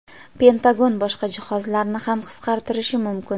Pentagon boshqa jihozlarni ham qisqartirishi mumkin.